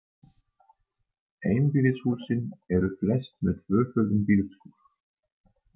Einbýlishúsin eru flest með tvöföldum bílskúr.